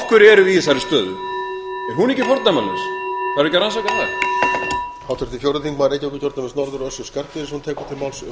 hverju erum við í þessari stöðu er hún ekki fordæmalaus þarf ekki að rannsaka að